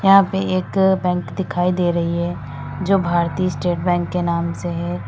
यहां पे एक बैंक दिखाई दे रही है जो भारतीय स्टेट बैंक के नाम से है।